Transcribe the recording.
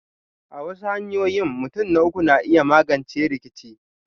A wasu hanyoyin, mutun na uku na iya magance rikice.